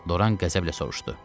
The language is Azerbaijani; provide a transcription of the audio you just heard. Doran qəzəblə soruşdu.